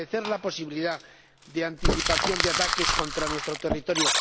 fortalecer la posibilidad de anticipación de ataques contra nuestro territorio